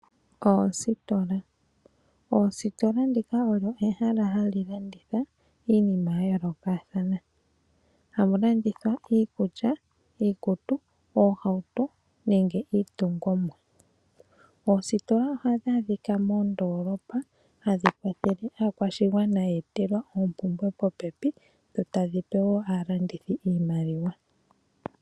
Oositola ndika olyo ehala hali landitha iinima ya yoolokathana. Ohali landitha iikulya, iikutu, oohauto nenge iitungithi. Oositola ohadhi adhika mondoolopa hadhi kwathele aakwashigwana ye etelwa oompumbwe popepi dho tadhi pe wo aalandithi iimaliwa.